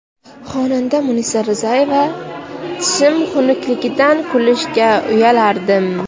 Xonanda Munisa Rizayeva: Tishim xunukligidan kulishga uyalardim.